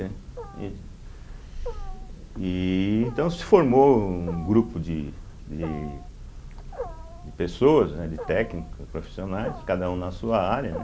e Então se formou um grupo de de de pessoas, né, de técnicos, profissionais, cada um na sua área, né.